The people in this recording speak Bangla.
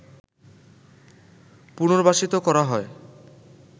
পুনর্বাসিত করা হয়